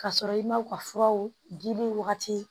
K'a sɔrɔ i ma u ka furaw di wagati